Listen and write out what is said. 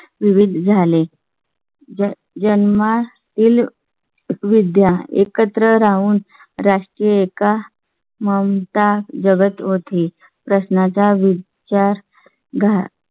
विविध झाले. जन्मातील विद्या एकत्र राहून राष्ट्रीय का ममता जगत होती. प्रश्ना चा विचार घात